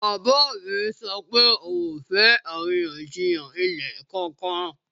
Bàbá mi sọ pé òun ò fẹ́ àríyànjiyàn ilẹ̀ kankan